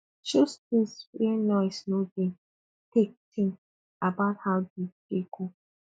choose place wey noise no dey take think about how di day go